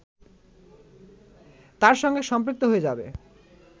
তার সঙ্গে সম্পৃক্ত হয়ে যাবে